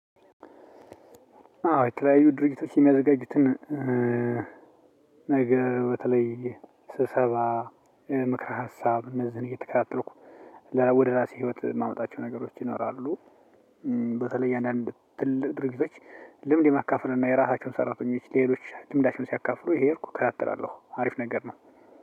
አዎ የተለያዩ ድርጅቶች የሚያዘጋጁትን ነገር በተለይ ስብሰባ ምክረ ሀሳብ እነዝህን እየተከታተልኩ ወደ ራሴ ህይወት የማመጣቸው ነገሮች ይኖራሉ። በተለይ እያንዳንዱ ትልቅ ድርጂቶች ልምድ ማካፈል እና የራሳቸውን ሰራተኞች ሌሎች ልምዳቸውን ሲያካፍሉ እየሄድኩ እከታተላለሁ አሪፍ ነገር ነው።